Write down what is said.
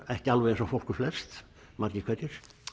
ekki alveg eins og fólk er flest margir hverjir